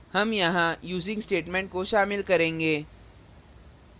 हम यहाँ using statement को शामिल करेंगे